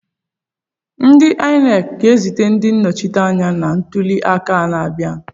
Ndị Inec ga-ezite ndị nnọchiteanya na ntuli aka na-abịa?